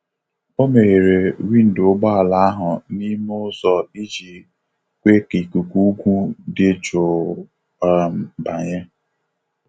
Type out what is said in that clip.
Omeghere windo ụgbọ ala ahụ n'ime ụzọ iji kwe ka ikuku ugwu dị jụụ um banye.